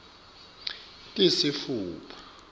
tisitfupha